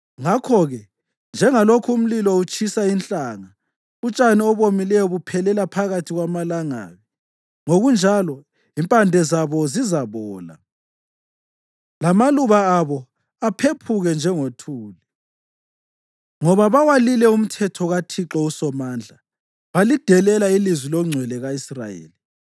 Ngakho-ke, njengalokhu umlilo utshisa inhlanga, utshani obomileyo buphelela phakathi kwamalangabi, ngokunjalo impande zabo zizabola. Lamaluba abo aphephuke njengothuli; ngoba bawalile umthetho kaThixo uSomandla balidelela ilizwi loNgcwele ka-Israyeli.